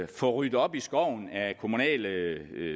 få ryddet op i skoven af kommunale